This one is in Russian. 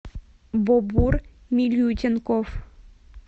бобур милютенков